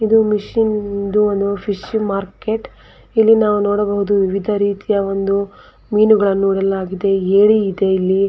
ಇದು ಮಷಿನ್ ಇದು ಒಂದು ಫಿಶ್ ಮಾರ್ಕೆಟ್ ಇಲ್ಲಿ ನಾವು ನೋಡಬಹುದು ವಿವಿಧ ರೀತಿಯ ಒಂದು ಮೀನುಗಳನ್ನು ನೋಡಲಾಗಿದೆ ಏರಿ ಇದೆ ಇಲ್ಲಿ --